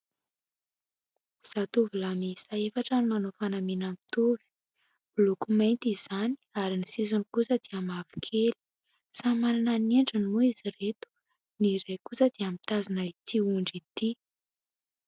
Zatovolahy miisa efatra no manao fanamiana mitovy. Miloko mainty izany ary ny sisiny kosa dia mavokely ; samy manana ny endriny moa izy ireto ; ny iray kosa dia mitazona ity ondry ity.